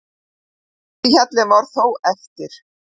Erfiðasti hjallinn var þó eftir.